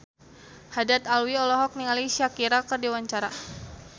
Haddad Alwi olohok ningali Shakira keur diwawancara